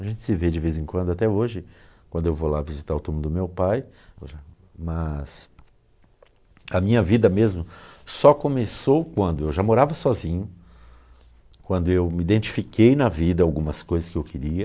A gente se vê de vez em quando até hoje, quando eu vou lá visitar o túmulo do meu pai, mas a minha vida mesmo só começou quando eu já morava sozinho, quando eu me identifiquei na vida algumas coisas que eu queria,